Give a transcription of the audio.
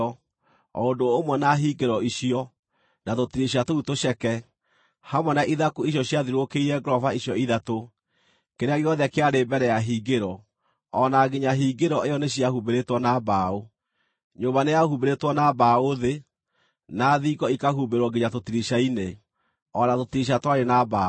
o ũndũ ũmwe na hingĩro icio, na tũtirica tũu tũceke, hamwe na ithaku icio ciathiũrũrũkĩirie ngoroba icio ithatũ: kĩrĩa gĩothe kĩarĩ mbere ya hingĩro, o na nginya hingĩro ĩyo nĩciahumbĩrĩtwo na mbaũ. Nyũmba nĩyahumbĩrĩtwo na mbaũ thĩ, na thingo ikahumbĩrwo nginya tũtirica-inĩ, o na tũtirica twarĩ na mbaũ.